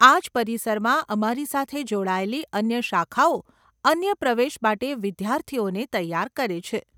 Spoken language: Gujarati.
આજ પરિસરમાં અમારી સાથે જોડાયેલી અન્ય શાખાઓ અન્ય પ્રવેશ માટે વિદ્યાર્થીઓને તૈયાર કરે છે.